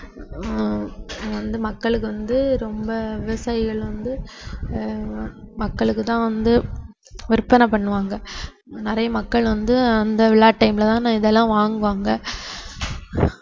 ஹம் வந்து மக்களுக்கு வந்து ரொம்ப விவசாயிகள் வந்து ஆஹ் மக்களுக்கு தான் வந்து விற்பனை பண்ணுவாங்க நிறைய மக்கள் வந்து அந்த விழா time ல தான இதெல்லாம் வாங்குவாங்க